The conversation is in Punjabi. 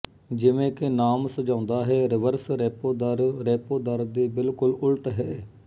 ਜਿਵੇਂ ਕਿ ਨਾਮ ਸੁਝਾਉਂਦਾ ਹੈ ਰਿਵਰਸ ਰੈਪੋ ਦਰ ਰੈਪੋ ਦਰ ਦੇ ਬਿਲਕੁਲ ਉਲਟ ਹੈ